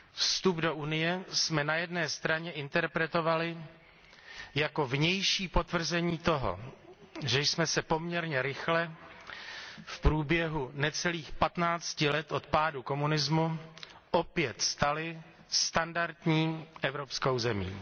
Vstup do Unie jsme na straně jedné interpretovali jako vnější potvrzení toho, že jsme se poměrně rychle, v průběhu necelých patnácti let od pádu komunismu, opět stali standardní evropskou zemí.